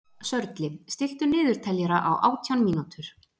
Sörli, stilltu niðurteljara á átján mínútur.